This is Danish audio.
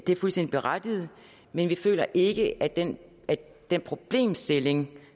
det er fuldstændig berettiget men vi føler ikke at den den problemstilling